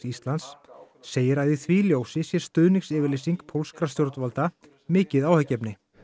Íslands segir að í því ljósi sé stuðningsyfirlýsing pólskra stjórnvalda mikið áhyggjuefni